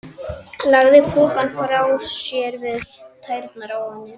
Lagði pokann frá sér við tærnar á henni.